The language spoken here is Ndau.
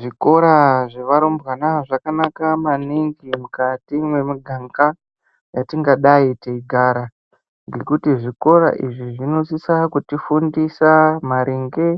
Zvikora zvevarumbwana zvakanaka maningi mukati mwemuganga yatingadai teigara ngekuti zvikora izvi zvinosisa kuti fundisa maringe